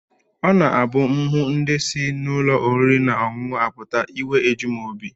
Ọ na-abụ m hụ ndị si n'ụlọ oriri na ọṅụṅụ apụta, iwe eju m obi